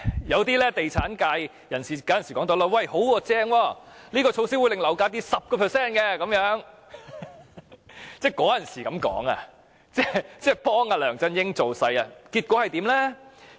有些地產界人士大讚"辣招"，說這些措施會令樓價下跌 10%， 他們當時這樣說，幫助梁振英造勢，結果是怎樣呢？